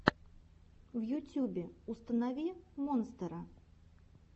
в ютюбе установи монстера